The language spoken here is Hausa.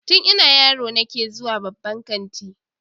Tun ina yaro nake zuwa babban kanti